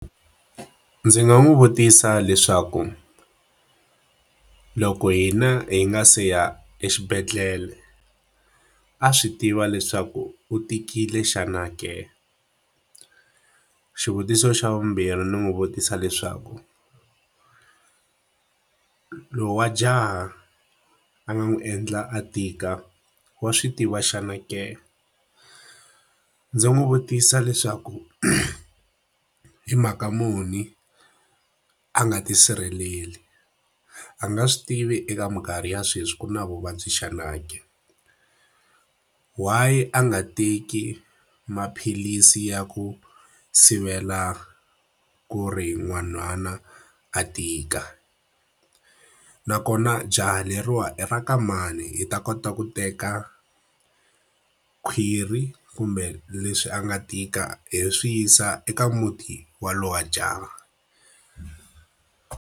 Ndzi nga n'wi vutisa leswaku, loko hina hi nga se ya exibedhlele a swi tiva leswaku u tikile xana ke? Xivutiso xa vumbirhi ni n'wi vutisa leswaku lowa jaha a nga n'wi endla a tika, wa swi tiva xana ke? Ndzi n'wi vutisa leswaku hi mhaka muni a nga tisirheleli? A nga swi tivi eka minkarhi ya sweswi ku na vuvabyi xana ke? Why a nga teki maphilisi ya ku sivela ku ri nhwanyana a tika? Nakona jaha leriwani i ra ka mani hi ta kota ku teka khwiri kumbe leswi a nga tika hi swi yisa eka muti wa loyi wa jaha?